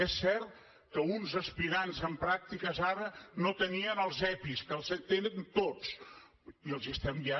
és cert que uns aspirants en pràctiques ara no tenien els epi que els tenen tots i els hi estem ja